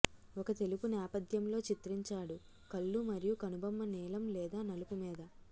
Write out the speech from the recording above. ఒక తెలుపు నేపధ్యంలో చిత్రించాడు కళ్ళు మరియు కనుబొమ్మ నీలం లేదా నలుపు మీద